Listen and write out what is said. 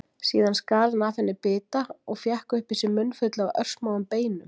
Síðan skar hann af henni bita og fékk upp í sig munnfylli af örsmáum beinum.